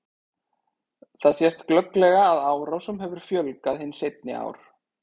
Þar sést glögglega að árásum hefur fjölgað hin seinni ár.